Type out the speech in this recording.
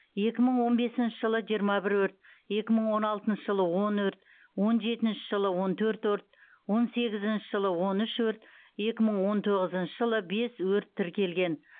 екі мың он бесінші жылы жиырма бір өрт екі мың он алтыншы жылы он өрт он жетінші жылы он төрт өрт он сегізінші жылы он үш өрт екі мың он тоғызыншы жылы бес өрт тіркелген